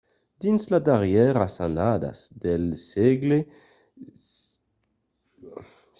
dins las darrièras annadas del sègle xviii los vietnamians envasiguèron tanben cambòtja